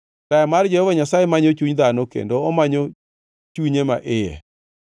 Taya mar Jehova Nyasaye manyo chuny dhano, kendo omanyo chunye ma iye.